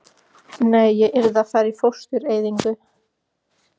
Nei, ég yrði að fara í fóstureyðingu.